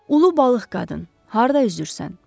Ulu balıq qadın, harda üzürsən?